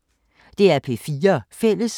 DR P4 Fælles